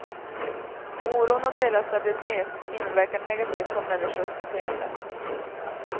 Oron om deras stabilitet inverkar negativt på människors beteende.